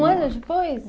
Um ano depois?